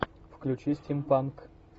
включи стим панк